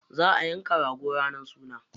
Za a yanka rago ranar sunan.